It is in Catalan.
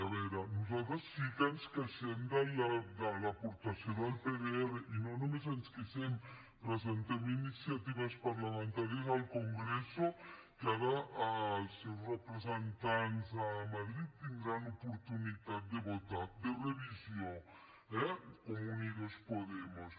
a veure nosaltres sí que ens queixem de l’aportació del pdr i no només ens queixem presentem iniciatives parlamentàries al congreso que ara els seus representants a madrid tindran oportunitat de votar de revisió eh com a unidos podemos